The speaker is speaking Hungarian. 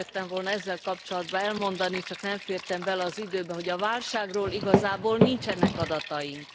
Azt szerettem volna ezzel kapcsolatban elmondani, csak nem fértem bele az időbe, hogy a válságról igazából nincsenek adataink.